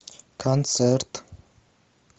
концерт